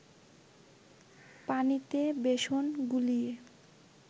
পানিতে বেসন গুলিয়ে